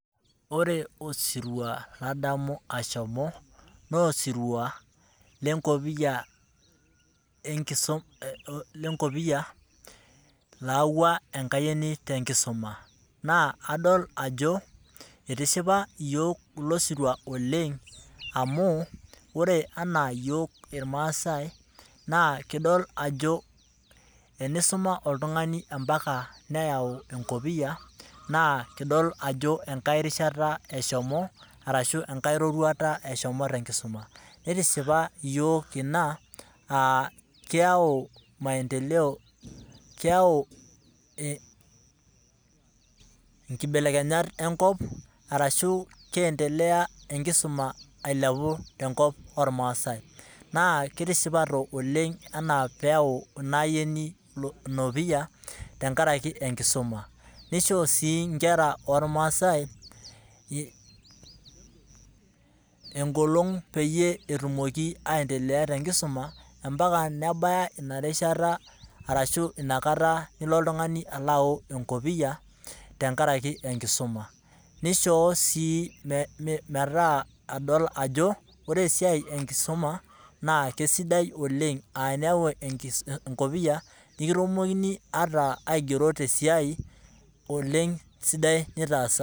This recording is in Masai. Ore osirua obayie ninye pee elo naa osirua le kisuma enkayioni naidipa te sukuul. Na keisho ina nkera te nkop ormaasai bidii pee eisuma pee etum siaitin te nkaraki esiai nataasa to sukuulini naidipa.